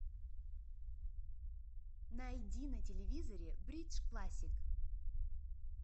найди на телевизоре бридж классик